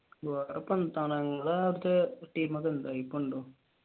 ടീമൊക്കെ ഉണ്ടോ ഇപ്പൊ ഉണ്ടോ?